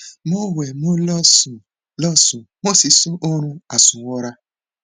mo wẹ mo lọ sùn lọ sùn mo sì sun oorun àsùnwọra